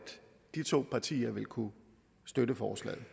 de to partier vil kunne støtte forslaget